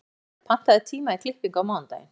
Ormhildur, pantaðu tíma í klippingu á mánudaginn.